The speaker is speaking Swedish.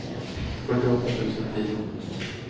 fyrtioåtta tusen tio